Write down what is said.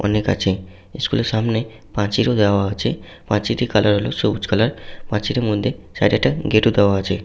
অনেক আছে । স্কুল এর সামনে পাঁচিল ও দেওয়া আছেপাঁচিলটির কালার হলো সবুজ কালার পাচিলের মধ্যে সাইড এ একটা গেট ও দেওয়া আছে।